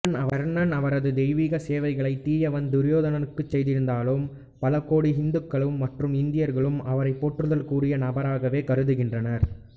கர்ணன் அவரது தெய்வீக சேவைகளை தீயவன் துரியோதனனுக்குச் செய்திருந்தாலும் பலகோடி இந்துக்களும் மற்றும் இந்தியர்களும் அவரை போற்றுதலுக்குரிய நபராகவே கருதுகின்றனர்